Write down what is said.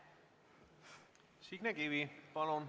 Signe Kivi, palun!